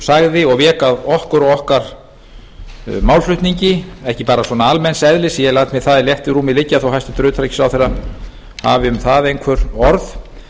sagði og vék að okkur og okkar málflutningi ekki bara almenns eðlis ég læt mér það í léttu rúmi liggja þó að hæstvirtur utanríkisráðherra hafi um það einhver orð